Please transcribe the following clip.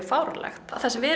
fáránlegt það sem við